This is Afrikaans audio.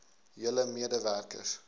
julle mede werkers